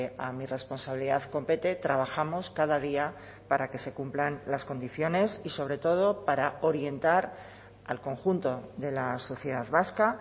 a mi responsabilidad compete trabajamos cada día para que se cumplan las condiciones y sobre todo para orientar al conjunto de la sociedad vasca